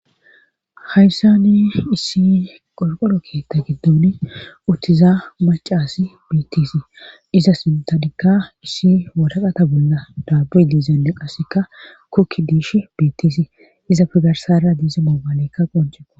Hayssani issi qolqolo keetta giddun uttiza macaasi bittisi iza sintanikka issi wadaqata bolla daabuy diizanne qassekka kokki diish bittisii iza pigarsara diiza moobaalekka qonceqo.